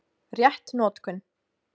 Rétt notkun